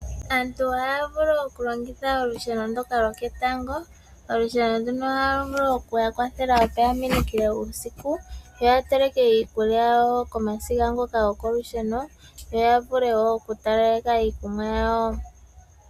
Aantu ohaya vulu okulongitha olusheno ndoka loketango, olusheno nduno ohalu vulu okuya kwathela opo ya minikile uusiku yo ya teleke iikulya komasiga ngoka gwokolusheno yo yavule wo oku taleleka iikunwa yawo.